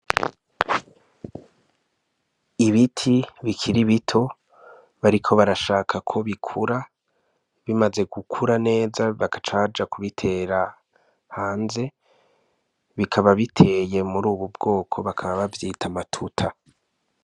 Ibiti bikiri bito bariko barashaka ko bikura bimaze gukura neza bagaca baja kubitera hanze bikaba biteye muri ubu bwoko bakaba bavyita amatuta.